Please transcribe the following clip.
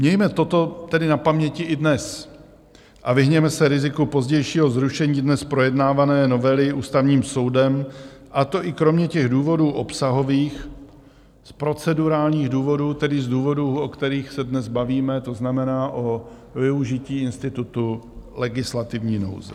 Mějme toto tedy na paměti i dnes a vyhněme se riziku pozdějšího zrušení dnes projednávané novely Ústavním soudem, a to i kromě těch důvodů obsahových z procedurálních důvodů, tedy z důvodů, o kterých se dnes bavíme, to znamená o využití institutu legislativní nouze.